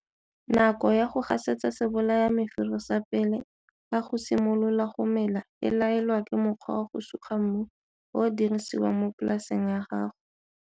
Nako ya go gasetsa sebolayamefero sa pele ga go simolola go mela e laelwa ke mokgwa wa go suga mmu o o dirisiwang mo polaseng ya gago.